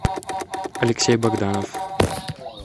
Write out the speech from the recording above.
алексей богданов